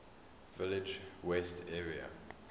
village west area